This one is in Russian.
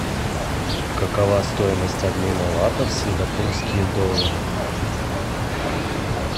какова стоимость обмена лата в сингапурские доллары